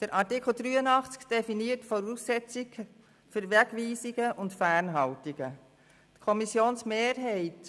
Der Artikel 83 definiert die Voraussetzungen für Wegweisungen und Fernhaltungen.